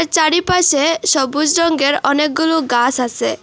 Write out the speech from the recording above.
চারিপাশে সবুজ রঙ্গের অনেকগুলো গাস আসে।